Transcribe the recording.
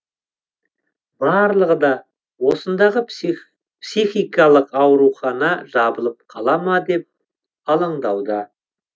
барлығы да осындағы психикалық аурухана жабылып қала ма деп алаңдаулы